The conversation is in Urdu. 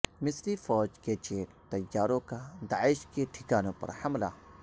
مصری فوج کے جیٹ طیاروں کا داعش کے ٹھکانوں پر حملہ